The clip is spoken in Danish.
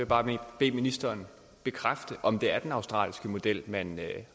bare bede ministeren bekræfte om det er den australske model man